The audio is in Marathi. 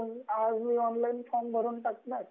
आज मी ऑनलाइन फॉर्म भरून टाकला,